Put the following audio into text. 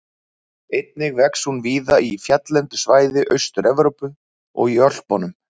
Einnig vex hún víða í fjalllendu svæði Austur-Evrópu og í Ölpunum.